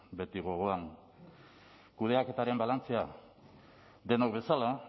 beti gogoan kudeaketaren balantzea denok bezala